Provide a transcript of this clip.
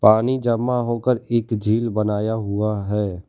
पानी जमा होकर एक झील बनाया हुआ है।